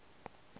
se se ga go a